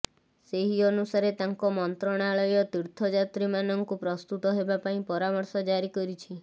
ସେହି ଅନୁସାରେ ତାଙ୍କ ମନ୍ତ୍ରଣାଳୟ ତୀର୍ଥଯାତ୍ରୀମାନଙ୍କୁ ପ୍ରସ୍ତୁତ ହେବା ପାଇଁ ପରାମର୍ଶ ଜାରି କରିଛି